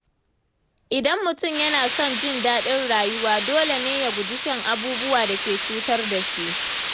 Idan mutum yana son jin daɗin rayuwa, dole ne ya guji shan abubuwan da ke cutar da shi.